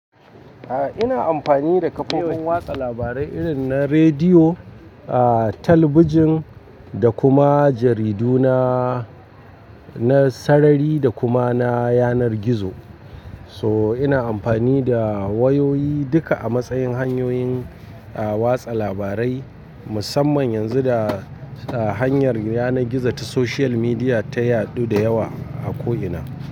Eh ina amfani da kafofin watsa labarai irin na rediyo, talabijin da kuma jaridu na, na sarari da kuma na yanar gizo. So ina amfani da wayoyi duka a matsayin hanyoyin watsa labarai musamman yanzu da hanyar yanar gizo ta social media ta yaɗu da yawa a ko ina.